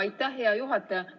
Aitäh, hea juhataja!